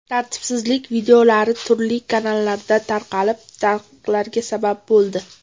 Tartibsizlik videolari turli kanallarda tarqalib, tanqidlarga sabab bo‘ldi.